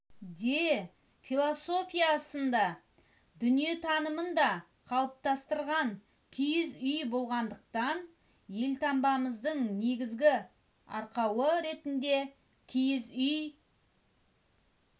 де философиясын да дүниетанымын да қалыптастырған киіз үй болғандықтан елтаңбамыздың негізгі арқауы ретінде киіз үй